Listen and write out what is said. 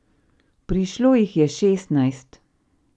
Prišlo jih je šestnajst.